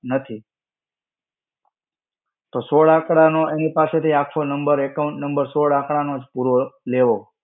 નથી. તો સોળ આંકડા નો એની પાસે થી આખો number, account number સોળ આંકડા નો જ પૂરો લેવો.